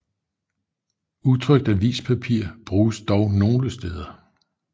Utrykt avispapir bruges dog nogle steder